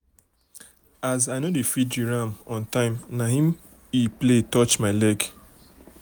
as i no feed di ram um on time na em um e play play touch my leg.